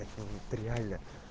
это вот реально